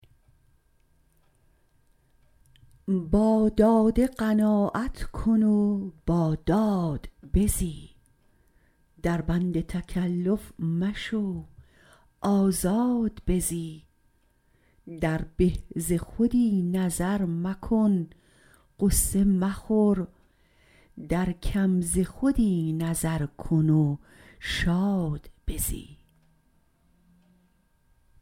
با داده قناعت کن و با داد بزی در بند تکلف مشو آزاد بزی در به ز خودی نظر مکن غصه مخور در کم ز خودی نظر کن و شاد بزی